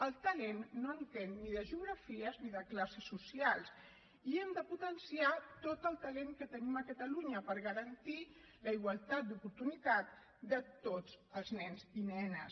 el talent no entén ni de geografies ni de classes socials i hem de potenciar tot el talent que tenim a catalunya per garantir la igualtat d’oportunitats de tots els nens i nenes